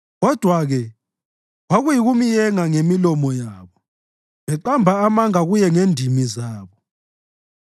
Kodwa-ke kwakuyikumyenga ngemilomo yabo, beqamba amanga kuye ngendimi zabo;